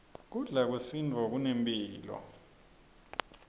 kudla kwesintfu kunemphilo